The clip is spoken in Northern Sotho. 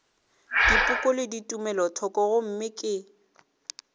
dipoko le tumelothoko gomme ke